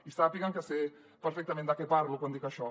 i sàpiguen que sé perfectament de què parlo quan dic això